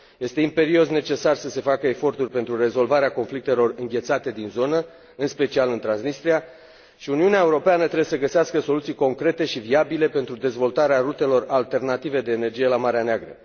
Este imperios necesar să se facă eforturi pentru rezolvarea conflictelor înghețate din zonă, în special în Transnistria, și Uniunea Europeană trebuie să găsească soluții concrete și viabile pentru dezvoltarea rutelor alternative de energie la Marea Neagră.